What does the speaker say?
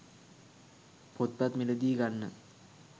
පොත්පත් මිලදී ගන්න